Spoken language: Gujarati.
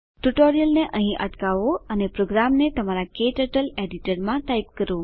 ટ્યુટોરીયલને અહીં અટકાવો અને પ્રોગ્રામને તમારા ક્ટર્ટલ એડીટરમાં ટાઈપ કરો